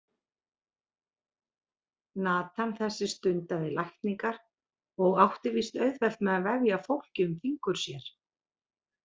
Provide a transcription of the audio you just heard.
Natan þessi stundaði lækningar og átti víst auðvelt með að vefja fólki um fingur sér.